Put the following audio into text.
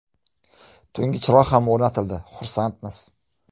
Tungi chiroqlar ham o‘rnatildi, xursandmiz.